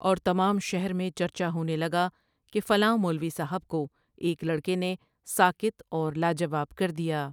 اور تمام شہر میں چرچا ہونے لگا کہ فلاں مولوی صاحب کو ایک لڑکے نے ساکت اور لا جواب کر دیا ۔